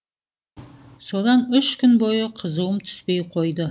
содан үш күн бойы қызуым түспей қойды